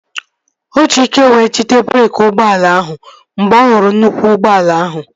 O ji ike wee jide breeki ụgbọala ahụ mgbe ọ hụrụ nnukwu ụgbọala ahụ